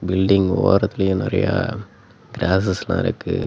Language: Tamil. பில்டிங் ஓரத்துலயே நெறையா கிராஸஸ்லா இருக்கு.